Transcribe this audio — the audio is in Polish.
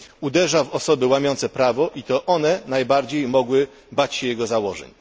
Uderza w osoby łamiące prawo, i to one najbardziej mogły bać się jego założeń.